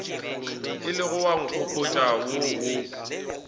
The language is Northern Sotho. ilego wa nkgopotša wo o